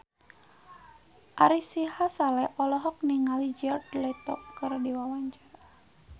Ari Sihasale olohok ningali Jared Leto keur diwawancara